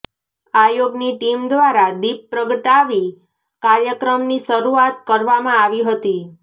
આયોગ ની ટીમ દ્વારા દીપ પ્રગટાવી કાર્યક્રમની શરૂઆત કરવામાં આવી હતી